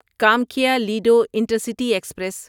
Kamakhya Ledo intercity express